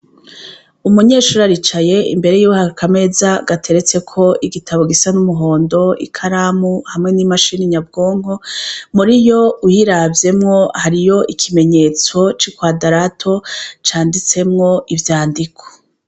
Umunyeshuri aricaye imbere yiwe har'akameza gateretseko igitabo gisa n'umuhondo, ikaramu hamwe n'imashini nyabwonko, muriyo uyiravyemwo hariyo ikimenyetso c'ikwadarato canditsemwo ivyandiko.